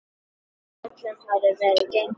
Frá öllu hafði verið gengið.